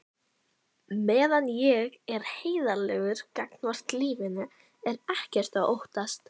Meðan ég er heiðarlegur gagnvart lífinu er ekkert að óttast.